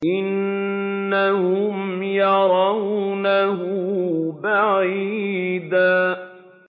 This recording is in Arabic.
إِنَّهُمْ يَرَوْنَهُ بَعِيدًا